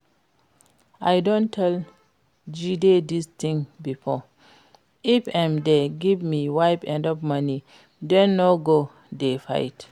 I don tell Jide dis thing before, if im dey give im wife enough money dem no go dey fight